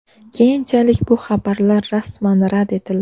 Keyinchalik bu xabarlar rasman rad etildi .